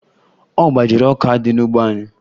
Ọ gbajiri ọka dị n'ugbo anyị